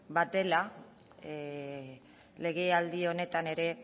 bat dela legealdi honetan ere